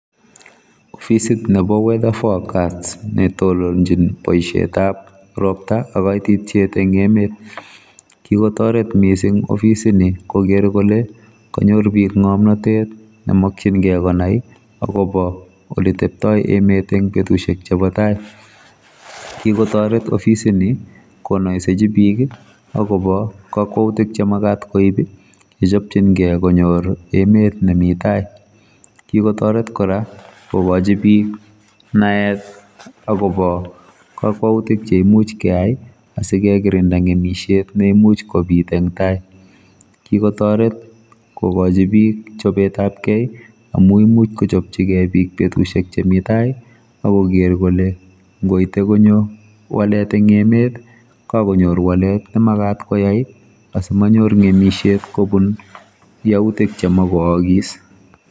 Ofisit nrbo weather forecast netononjin ngalekab ropta ak kaititiet eng emet kikotoret mising ofisitni koger kole kanyor bik ngomnotet nemokchingei konai akobo ole tebtoi emet eng betusiek chebo tai kikotoret ofisitni konoisechi bik akobo kakwautik chemagat koib yechopchingei konyor emet nemi tai kikotoret kora kokochi bik naet akobo kakwautik cheimuch keai asikokirinda ngemisiet neimuch kobit eng tai kikotoret kokochi bik chobetab kei amu imuch kochopchigei bik betusiek chemi tai akoker kole ngoite konyo walet eng emet kakonyor walet nemagat koyai asimanyor ngemisiet kobun yautik chemakoaakis.